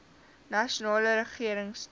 nasionale regering stel